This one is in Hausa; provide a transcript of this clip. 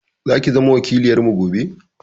Zaki zama wakiloyarmu gobe.